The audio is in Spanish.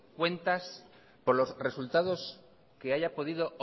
cuentas por los resultado que haya podido